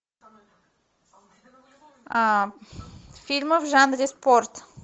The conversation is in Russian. фильмы в жанре спорт